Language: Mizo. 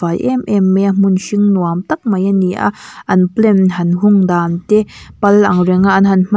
em em mai a hmun hring nuam tak mai a ni a an plant han hung dan te pal ang renga an han hman--